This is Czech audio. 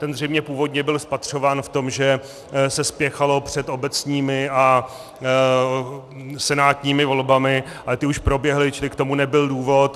Ten zřejmě původně byl spatřován v tom, že se spěchalo před obecními a senátními volbami, ale ty už proběhly, čili k tomu nebyl důvod.